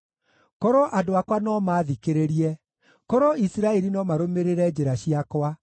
“Korwo andũ akwa no maathikĩrĩrie, korwo Isiraeli no marũmĩrĩre njĩra ciakwa,